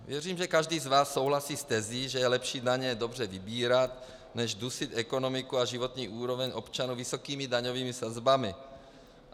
Věřím, že každý z vás souhlasí s tezí, že je lepší daně dobře vybírat než dusit ekonomiku a životní úroveň občanů vysokými daňovými sazbami.